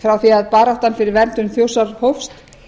frá því að baráttan fyrir verndun þjórsár hófst